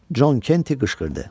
Con Kenti qışqırdı.